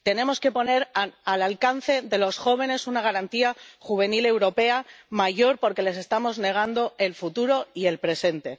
Tenemos que poner al alcance de los jóvenes una Garantía Juvenil Europea mayor porque les estamos negando el futuro y el presente.